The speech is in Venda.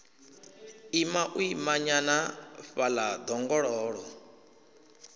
ima u imanyana fhaḽa ḓongololo